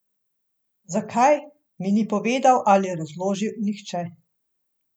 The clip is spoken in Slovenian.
Zakaj, mi ni povedal ali razložil nihče.